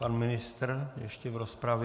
Pan ministr ještě v rozpravě.